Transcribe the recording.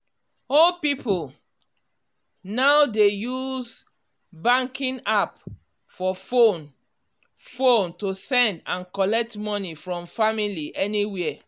old people now dey use banking app for phone phone to send and collect money from family anywhere